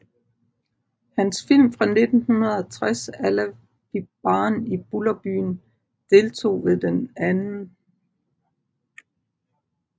Hans film fra 1960 Alla vi barn i Bullerbyn deltog ved den 2